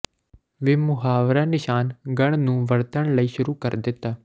ਵੀ ਮੁਹਾਵਰਾ ਨਿਸ਼ਾਨ ਗੜ੍ਹ ਨੂੰ ਵਰਤਣ ਲਈ ਸ਼ੁਰੂ ਕਰ ਦਿੱਤਾ